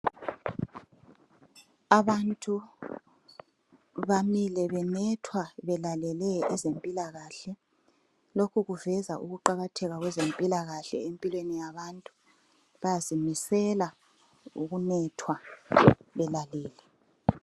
Abantu bamile benethwa belalele ezempilakahle. Lokhu kuveza ukuqakatheka kwezempilakahle empilweni yabantu. Bazimisela ngokunethwa belalele.